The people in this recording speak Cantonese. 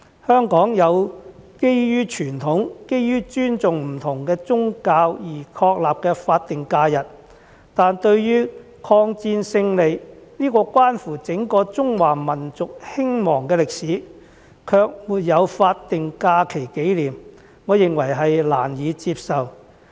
香港有基於傳統、基於尊重不同宗教而確立的法定假日，但對於抗戰勝利，這關乎整個中華民族興亡的歷史，卻沒有法定假期紀念，我認為難以接受。